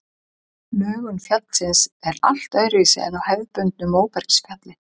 Lögun fjallsins er allt öðruvísi en á hefðbundnu móbergsfjalli.